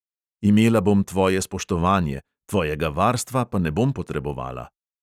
Imela bom tvoje spoštovanje, tvojega varstva pa ne bom potrebovala.